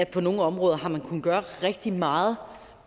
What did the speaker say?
på nogle områder har kunnet gøre rigtig meget